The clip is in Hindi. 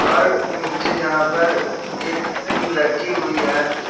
और नीचे यहां पर एक टीन रखी हुई है।